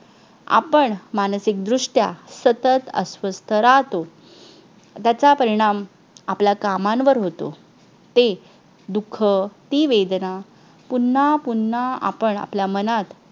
आपण मानसिक दृष्ट्या सतत अस्वस्थ राहतो त्याचा परिणाम आपल्या कामांवर होतो ते दुःख ती वेदना पुन्हा पुन्हा आपण आपल्या मनात